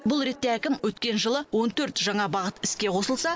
бұл ретте әкім өткен жылы он төрт жаңа бағыт іске қосылса